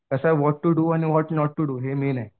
कसं आहे what to do आणि व्हॉट नॉट टू डू हे मेन आहे.